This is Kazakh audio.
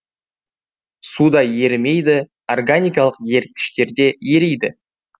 суда ерімейді органикалық еріткіштерде ериді